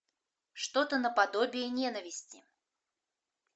что то наподобие ненависти